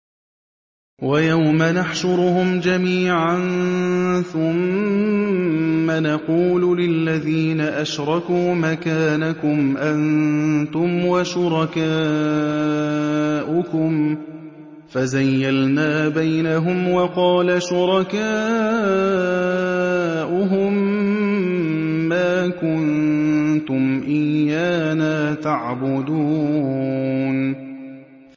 وَيَوْمَ نَحْشُرُهُمْ جَمِيعًا ثُمَّ نَقُولُ لِلَّذِينَ أَشْرَكُوا مَكَانَكُمْ أَنتُمْ وَشُرَكَاؤُكُمْ ۚ فَزَيَّلْنَا بَيْنَهُمْ ۖ وَقَالَ شُرَكَاؤُهُم مَّا كُنتُمْ إِيَّانَا تَعْبُدُونَ